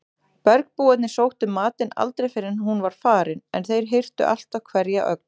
Bergbúarnir sóttu matinn aldrei fyrr en hún var farin en þeir hirtu alltaf hverja ögn.